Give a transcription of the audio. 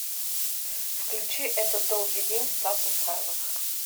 включи этот долгий день стас михайлов